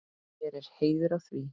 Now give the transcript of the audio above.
Mér er heiður að því.